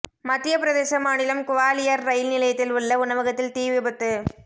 மத்தியப்பிரதேச மாநிலம் குவாலியர் ரயில் நிலையத்தில் உள்ள உணவகத்தில் தீ விபத்து